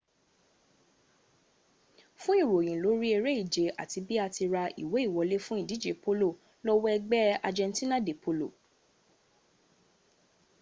fún ìròyìn lórí eré ìje àti bi à ti ra ìwé ìwọlé fún ìdíje polo lọ wo ẹgbẹ́ argentina de polo